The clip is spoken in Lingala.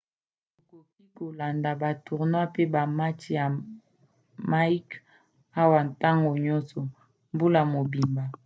okoki kolanda ba tournois mpe bamatch ya mike awa ntango nyonso mbula mobimba